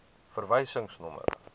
verwysingsnommer